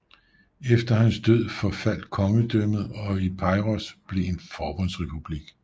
Efter hans død forfaldt kongedømmet og Epeiros blev en forbundsrepublik